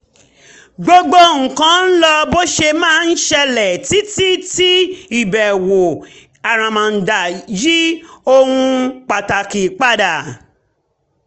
gbogbo nǹkan ń lọ bó ṣe máa ń ṣẹlẹ̀ títí tí ìbẹ̀wò àràmàǹdà yí ohun pàtàkì padà